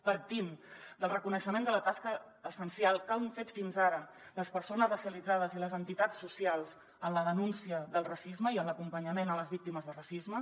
partim del reconeixement de la tasca essencial que han fet fins ara les persones racialitzades i les entitats socials en la denúncia del racisme i en l’acompanyament a les víctimes de racisme